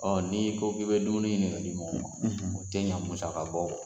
Ɔɔ ni ko k'i be dumuni ɲini ka di mɔgɔ ma, o ti ɲɛ musaka bɔ kɔ.